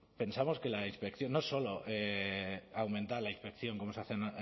pensamos que la inspección no solo aumentar la inspección como se hace